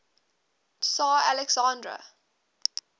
tsar alexander